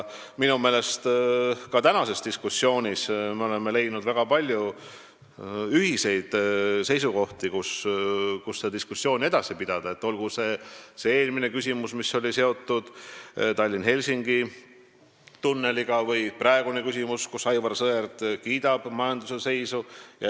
Minu meelest ka tänases diskussioonis me oleme leidnud väga palju ühiseid seisukohti, mille põhjal saab diskussiooni edasi pidada, olgu see eelmine küsimus, mis oli seotud Tallinna–Helsingi tunneliga, või praegune küsimus, kui Aivar Sõerd kiitis majanduse seisu.